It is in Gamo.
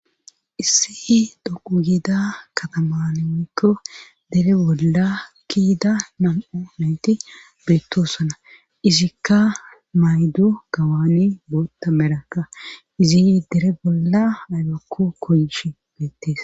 Issi dhoqu giida kataman woyykko dere bolla ki'ida nam'o mayti beettoosana izikka mayddo gawani bootta merakka izi dere bolla aybakko koyishshe beettees